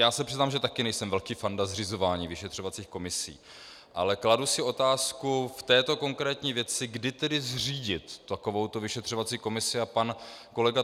Já se přiznám, že také nejsem velký fanda zřizování vyšetřovacích komisí, ale kladu si otázku v této konkrétní věci, kdy tedy zřídit takovouto vyšetřovací komisi, a pan kolega